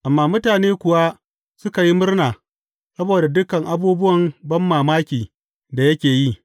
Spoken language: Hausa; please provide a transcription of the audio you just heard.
Amma mutane kuwa suka yi murna saboda dukan abubuwan banmamaki da yake yi.